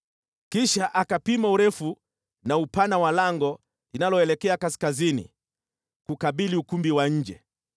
Kisha akapima urefu na upana wa lango linaloelekea kaskazini, kukabili ukumbi wa nje.